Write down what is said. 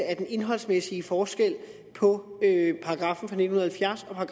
af den indholdsmæssige forskel på paragraffen fra nitten halvfjerds og